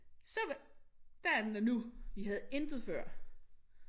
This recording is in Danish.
Så der er den der nu vi havde intet før